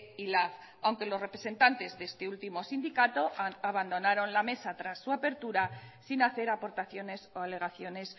y lab aunque los representantes de este último sindicato abandonaron la mesa tras su apertura sin hacer aportaciones o alegaciones